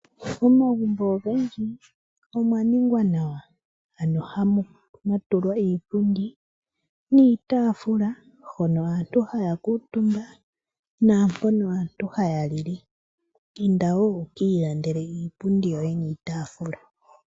Momagumbo ogendji omwa ningwa nawa, mwa tulwa iipundi niitafula hono aantu haya kuutumba naampono aantu haya lile. Inda wo wu kiilandele iipundi yoye niitafula.